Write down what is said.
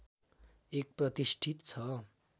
एक प्रतिष्ठित छ